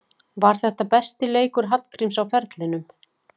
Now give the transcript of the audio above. Var þetta besti leikur Hallgríms á ferlinum?